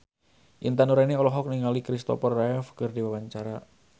Intan Nuraini olohok ningali Kristopher Reeve keur diwawancara